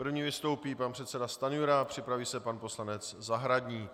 První vystoupí pan předseda Stanjura, připraví se pan poslanec Zahradník.